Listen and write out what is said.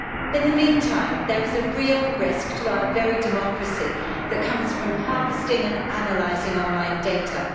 In the meantime, there is a real risk to our very democracy that comes from harvesting and analysing online data.